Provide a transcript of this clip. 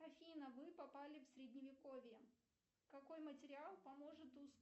афина вы попали в средневековье какой материал поможет